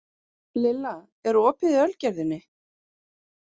Lilla, er opið í Ölgerðinni?